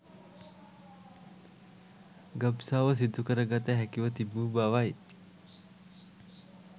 ගබ්සාව සිදුකරගත හැකිව තිබූ බවයි